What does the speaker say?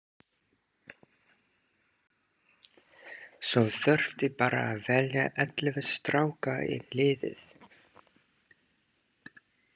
Svo þurfti bara að velja ellefu stráka í liðið.